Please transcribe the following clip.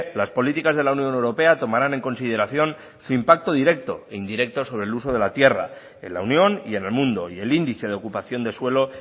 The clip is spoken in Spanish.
las políticas de la unión europea tomarán en consideración su impacto directo e indirecto sobre el uso de la tierra en la unión y en el mundo y el índice de ocupación de suelo